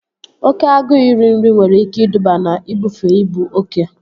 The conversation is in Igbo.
Oké agụụ iri nri nwere ike iduba na ibufe ibu oke